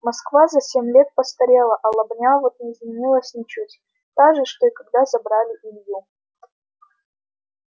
москва за семь лет постарела а лобня вот не изменилась ничуть та же что и когда забирали илью